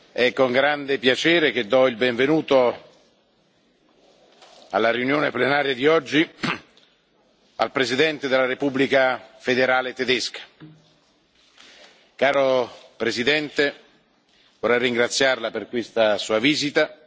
è con grande piacere che do il benvenuto alla seduta plenaria di oggi al Presidente della Repubblica federale di Germania. Caro Presidente, vorrei ringraziarLa per questa Sua visita.